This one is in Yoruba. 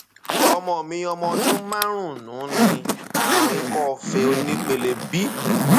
ọmọ mi ọmọ ọdún márùnún ní àrùn ikọọfe onípele b